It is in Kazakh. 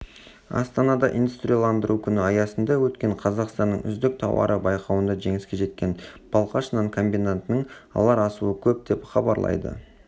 астанада индустрияландыру күні аясында өткен қазақстанның үздік тауары байқауында жеңіске жеткен балқаш нан комбинатының алар асуы көп деп хабарлайды